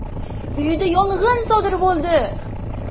uyida yong‘in sodir bo‘ldi.